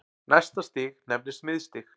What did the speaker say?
Næsta stig nefnist miðstig.